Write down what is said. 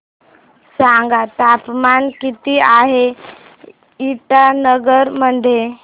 सांगा तापमान किती आहे इटानगर मध्ये